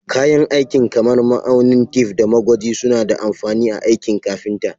Kayan aikin kamar ma'aunin tef, da magwaji suna da amfani a aikin kafinta.